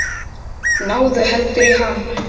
Náðu heldur í hann.